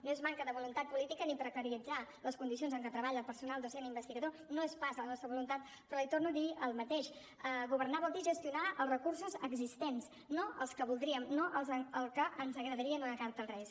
no és manca de voluntat política ni precaritzar les condicions en què treballa el personal docent investigador no és pas la nostra voluntat però li torno a dir el mateix governar vol dir gestionar els recursos existents no els que voldríem no els que ens agradaria en una carta als reis